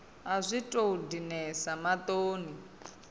a zwi tou dinesa maṱoni